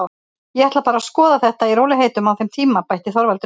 Ég ætla bara að skoða þetta í rólegheitum á þeim tíma, bætti Þorvaldur við.